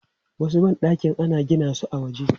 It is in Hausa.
Wasu ban ɗakin ana gina su a waje.